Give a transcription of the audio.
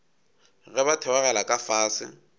ge ba theogela ka fase